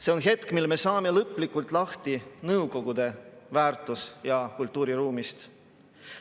See on hetk, mil me saame lõplikult lahti Nõukogude väärtus‑ ja kultuuriruumist.